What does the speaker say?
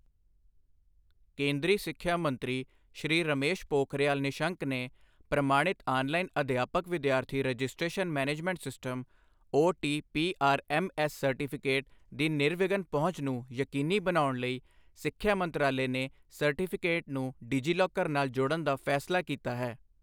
ਕੇਂਦਰੀ ਸਿੱਖਿਆ ਮੰਤਰੀ ਸ਼੍ਰੀ ਰਮੇਸ਼ ਪੋਖਰਿਯਾਲ ਨਿਸ਼ਂਕ ਨੇ ਪ੍ਰਮਾਣਿਤ ਆਨਲਾਈਨ ਅਧਿਆਪਕ ਵਿਦਿਆਰਥੀ registration management system OTPRMS certificate ਦੀ ਨਿਰਵਿਘਨ ਪਹੁੰਚ ਨੂੰ ਯਕੀਨੀ ਬਣਾਉਣ ਲਈ, ਸਿੱਖਿਆ ਮੰਤਰਾਲੇ ਨੇ ਸਰਟੀਫਿਕੇਟ ਨੂੰ ਡਿਜੀਲੋਕਰ ਨਾਲ ਜੋੜਨ ਦਾ ਫੈਸਲਾ ਕੀਤਾ ਹੈ।